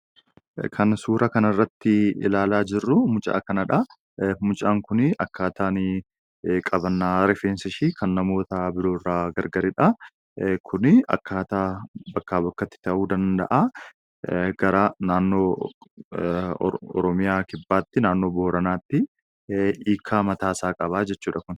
Kan suura kana irratti ilaalaa jirruu, mucaa kanadha. Mucaan kunii akkaataan qabannaa rifeensa ishee kan namoota biroo irraa gargaridha. Kun akkaataa bakkaa bakkatti ta'uu danda'a gara naannoo Oromiyaa kibbaatti naannoo booranaatti hiikaa mataa isaa qaba.